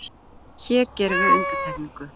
Hér gerum við undantekningu.